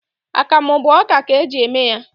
Akamụ bụ ọka ka e ji eme ya